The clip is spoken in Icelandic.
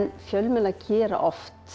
fjölmiðlar gera oft